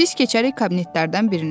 Biz keçərik kabinetlərdən birinə.